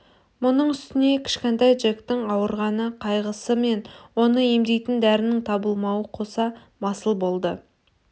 мұның үстіне кішкентай джектің ауырған қайғысы мен оны емдейтін дәрінің табылмауы қоса масыл болды